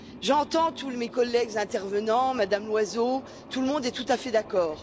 J'entends tous mes collègues intervenants, Mme Loiseau, tout le monde est tout à fait d'accord.